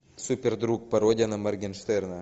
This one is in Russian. супер друг пародия на моргенштерна